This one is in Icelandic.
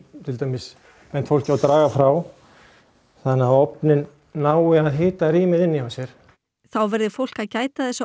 til dæmis bent fólki á að draga frá þannig að ofninn nái að hita rýmið inni hjá sér þá verði fólk að gæta þess að